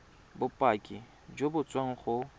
bopaki jo bo tswang go